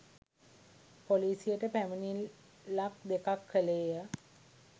පොලිසියට පැමිණිල්ලක්‌ දෙකක්‌ කළේය